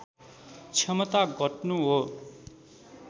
क्षमता घट्नु हो